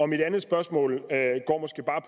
mit andet spørgsmål